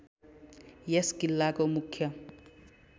यस किल्लाको मुख्य